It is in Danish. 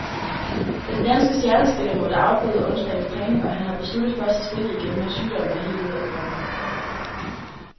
Den danske stjernespiller måtte afbryde onsdagens træning, og han har besluttet først at spille igen, når sygdommen er helt ude af kroppen.